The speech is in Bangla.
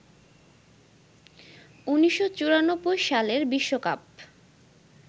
১৯৯৪ সালের বিশ্বকাপ